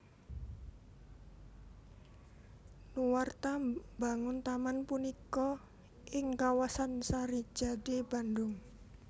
Nuarta mbangun taman punika ing kawasan Sarijadi Bandung